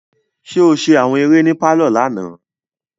Ṣe o ṣe awọn eré ní parlor lànà?